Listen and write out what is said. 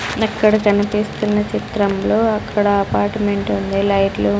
అక్కడ కనిపిస్తున్న చిత్రంలో అక్కడ అపార్ట్మెంట్ ఉంది లైట్లు --